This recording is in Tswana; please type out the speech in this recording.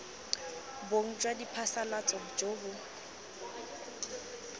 bong jwa diphasalatso jo bo